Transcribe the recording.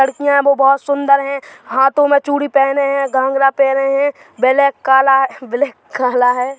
लड़कियां वो बहोत सुन्दर है हाथों मे चूड़ि पहने है घाँगरा पहने है बेलेक काला है ब्लैक काला है।